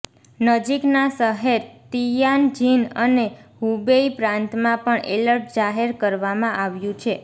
નજીકના શહેર તિયાનજિન અને હુબેઇ પ્રાંતમાં પણ એલર્ટ જાહેર કરવામાં આવ્યું છે